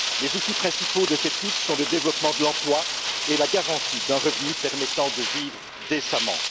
Les outils principaux de cette lutte sont le développement de l'emploi et la garantie d'un revenu permettant de vivre décemment.